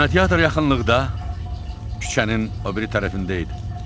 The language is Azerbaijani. Kinoteatr yaxınlıqda küçənin o biri tərəfində idi.